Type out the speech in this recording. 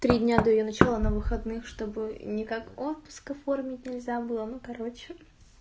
три дня до её начала на выходных что бы ни как отпуск оформить нельзя было ну короче